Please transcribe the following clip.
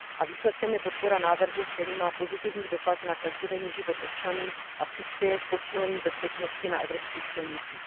Výsledkem je podpora návrhu, který má pozitivní dopad na každodenní život občanů a přispěje k posílení bezpečnosti na evropských silnicích.